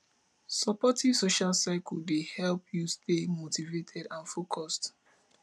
supportive social circle dey help you stay motivated and focused